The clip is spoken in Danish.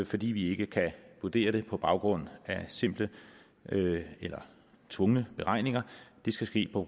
fordi vi ikke kan vurdere det på baggrund af simple eller tvungne beregninger det skal ske på